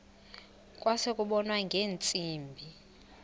kwase kubonwa ngeentsimbi